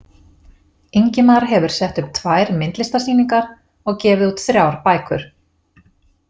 Ingimar hefur sett upp tvær myndlistarsýningar og gefið út þrjár bækur.